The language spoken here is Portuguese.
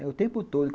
É o tempo todo.